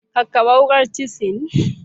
Kakkaɓe wukar cisinl.